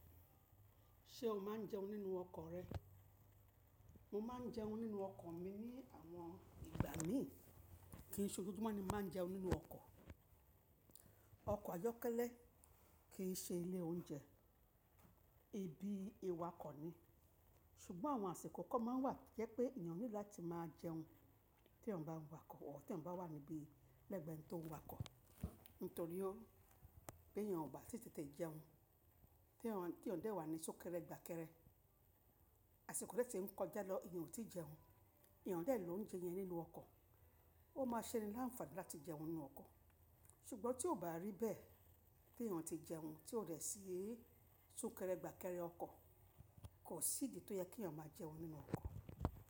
Ṣé o máa ń jẹun nínú ọkọ̀ rẹ? Mo máa ń jẹun nínú ọkọ̀ mi ní àwọn ìgbà míì. Kì í ṣe ojojúmọ́ ni mo máa ń jẹun nínú ọkọ̀. Ọkọ̀ ayọ́kẹ́lẹ́ kì í ṣe ilé oúnjẹ, ibi ìwà kọ̀ ni. Ṣùgbọ́n àwọn àsìkò kán máa ń wà tó jẹ pé èèyàn níìdì láti máa jẹun tí èèyàn bá ń wà kọ̀ ọ́, tí èèyàn bá wà níbi lẹ́gbẹ̀ẹ́ ẹni tó ń wà kọ̀. Nítorí o, b'èèyàn ò bá tètè jẹun, tí èèyàn dè wà ní súnkẹrẹ gbàkẹrẹ, àsìkò rẹ ti ń kọjá lọ, èèyàn ò tí ì jẹun, èèyàn dè lóúnjẹ yẹn nínú ọkọ̀, ó máa ṣení láǹfààní láti jẹun nínú ọkọ̀. Ṣùgbọ́n tí ò bá rí bẹ́ẹ̀ tí èèyàn ti jẹun tí ó dẹ̀ sí i súnkẹrẹ gbàkẹrẹ ọkọ̀, kò sí ìdí tó yẹ kí èèyàn máa jẹun nínú ọkọ̀